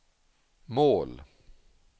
mål